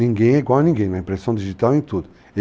Ninguém é igual a ninguém na impressão digital e em tudo.